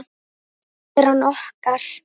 Tilvera okkar